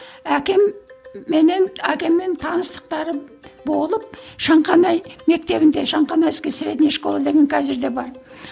әкем менен әкеммен таныстықтары болып шанқанай мектебінде шанханайская средняя школа деген қазір де бар